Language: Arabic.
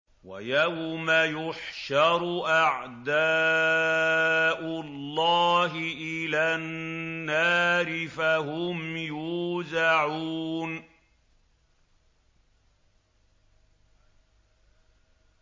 وَيَوْمَ يُحْشَرُ أَعْدَاءُ اللَّهِ إِلَى النَّارِ فَهُمْ يُوزَعُونَ